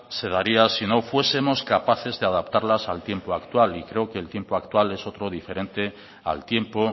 se daría si no fuesemos capaces de adaptarlas al tiempo actual y creo que el tiempo actual es otro diferente al tiempo